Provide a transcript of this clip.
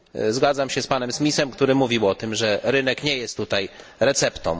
Zgadzam się z panem Smithem, który mówił o tym, że rynek nie jest tutaj receptą.